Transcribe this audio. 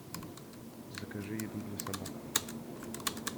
закажи еду для собак